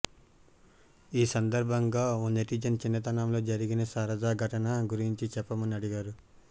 ఈ సందర్భంగా ఓ నెటిజన్ చిన్నతనంలో జరిగిన సరదా ఘటన గురించి చెప్పమని అడిగారు